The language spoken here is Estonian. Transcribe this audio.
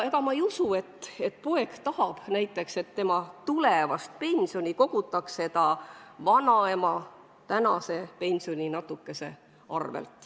Ma ei usu, et näiteks pojapoeg tahab, et tema tulevane pension koguneb ta vanaema tänase pensioninatukese arvel.